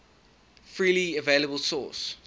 freely available source